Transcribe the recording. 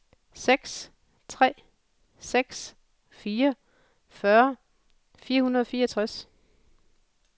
seks tre seks fire fyrre fire hundrede og fireogtres